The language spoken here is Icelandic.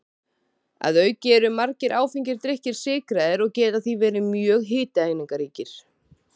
Að auki eru margir áfengir drykkir sykraðir og geta því verið mjög hitaeiningaríkir.